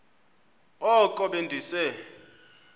oko be ndise